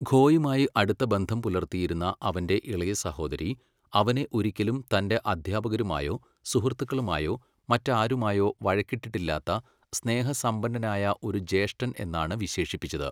ഖോയുമായി അടുത്ത ബന്ധം പുലർത്തിയിരുന്ന അവന്റെ ഇളയ സഹോദരി അവനെ ഒരിക്കലും തന്റെ അധ്യാപകരുമായോ സുഹൃത്തുക്കളുമായോ മറ്റാരുമായോ വഴക്കിട്ടിട്ടില്ലാത്ത സ്നേഹസമ്പന്നനായ ഒരു ജ്യേഷ്ഠൻ എന്നാണ് വിശേഷിപ്പിച്ചത്.